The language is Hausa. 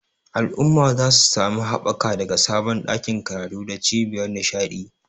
Al'ummar za su sami haɓaka daga sabon ɗakin karatu da cibiyar nishaɗi.